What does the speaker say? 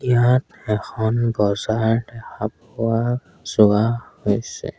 ইয়াত এখন বজাৰ দেখা পোৱা যোৱা হৈছে।